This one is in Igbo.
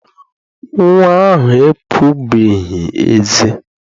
Nnwa ahụ epubeghị eze.